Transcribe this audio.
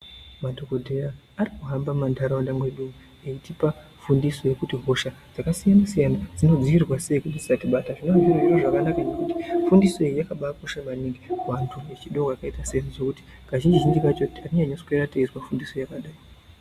Madhokodheya ari kuhamba muma ntaraunda mwedu eitipa fundiso yekuti hosha dzakasiyana siyana dzinodzivirirwa sei kuti dzisatibata zvinenge zviri zviro zvakanaka ngekuti fundiso iyi yakabakosha ngekuti vantu vechidowa vakaita seningekuti kazhinji zhinji tenge teiswera teizwa fundiso yakadai.